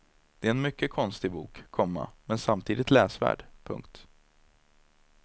Det är en mycket konstig bok, komma men samtidigt läsvärd. punkt